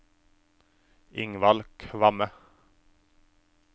Ingvald Kvamme